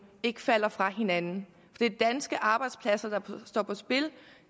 ikke falder fra hinanden det er danske arbejdspladser der står på spil